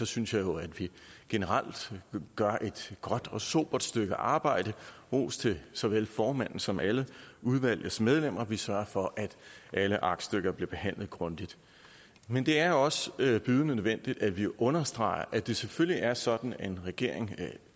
synes jeg jo at vi generelt gør et godt og sobert stykke arbejde ros til såvel formanden som alle udvalgets medlemmer vi sørger for at alle aktstykker bliver behandlet grundigt men det er også bydende nødvendigt at vi understreger at det selvfølgelig er sådan at en regering